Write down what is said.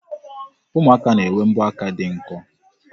Ụmụaka na-enwe mbọaka dị nkọ.